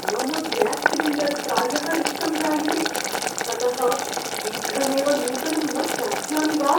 मम gas cylinder प्रायः रिक्तं जायते। ततः शीघ्रमेव नूतनं न प्राप्स्यामि वा?